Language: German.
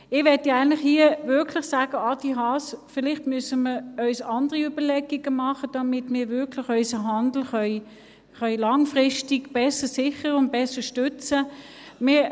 Eigentlich möchte ich hier wirklich sagen: Adrian Haas, vielleicht müssen wir uns andere Überlegungen machen, damit wir unseren Handel wirklich langfristig besser sichern und stützen können.